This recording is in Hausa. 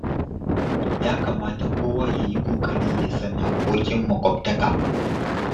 Ya kamata kowa ya yi ƙoƙari ya san haƙƙoƙin maƙwabtaka.